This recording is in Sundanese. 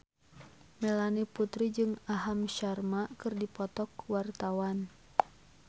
Melanie Putri jeung Aham Sharma keur dipoto ku wartawan